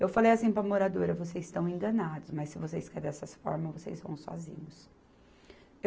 Eu falei assim para a moradora, vocês estão enganados, mas se vocês querem dessa forma, vocês vão sozinhos.